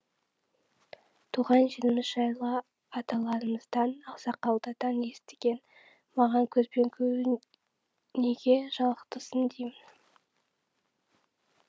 туған жеріміз жайлы аталарымыздан ақсақалдардан естіген маған көзбен көру неге жалықтырсын деймін